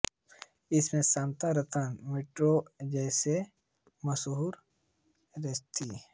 इसमे Sagar Ratna Moet's Kent's जैसे मशहूर रेस्त्राँ है